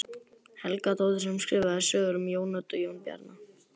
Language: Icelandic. Helgadóttur sem skrifaði sögurnar um Jón Odd og Jón Bjarna.